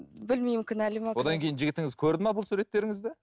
білмеймін одан кейін жігітіңіз көрді ме бұл суреттеріңізді